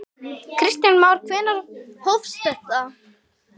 Kristján Már: Hvenær hófst þetta?